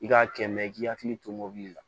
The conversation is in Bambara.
I k'a kɛ mɛ i k'i hakili to mobili la